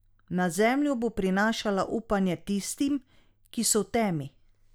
Na zemljo bo prinašala upanje tistim, ki so v temi!